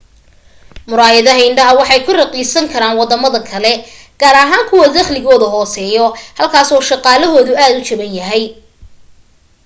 murayadaha indhaha waxay ku raqiisnaan karaan wadamada kale gaar ahaan kuwa daqligooda hooseeyo halkaas oo shaqalahoda uu jaban yahay